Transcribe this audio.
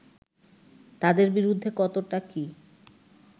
তাদের বিরুদ্ধে কতটা কি